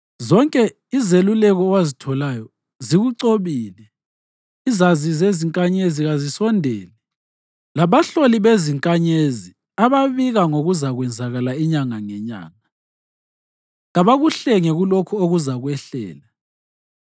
Zonke izeluleko owazitholayo zikucobile. Izazi zezinkanyezi kazisondele, labahloli bezinkanyezi ababika ngokuzakwenzakala inyanga ngenyanga. Kabakuhlenge kulokhu okuzakwehlela.